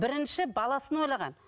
бірінші баласын ойлаған